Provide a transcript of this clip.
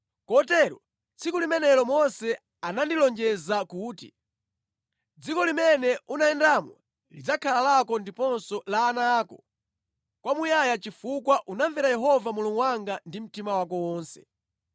Kotero tsiku limenelo Mose anandilonjeza kuti, ‘Dziko limene unayendamo lidzakhala lako ndiponso la ana ako kwamuyaya chifukwa unamvera Yehova Mulungu wanga ndi mtima wako wonse.’